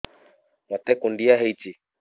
ମୋତେ କୁଣ୍ଡିଆ ହେଇଚି